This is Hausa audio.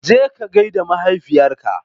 Jeka gaida mahaifiyarka.